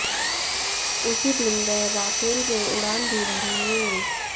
उसी दिन वह राफेल में उड़ान भी भरेंगे